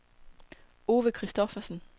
Ove Christophersen